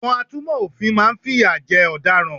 Àwọn atúnmò òfin máa n fìyà jẹ ọ̀daràn